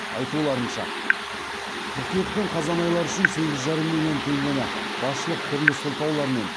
айтуларынша қыркүйек пен қазан айлары үшін сегіз жарым миллион теңгені басшылық түрлі сылтаулармен